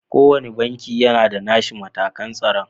Ko wanne banki yana da nashi matakan tsaro.